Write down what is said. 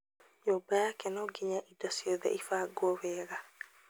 Nyũmba yake no nginya indo ciothe ibangwo wega.